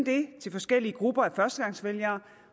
det til forskellige grupper af førstegangsvælgere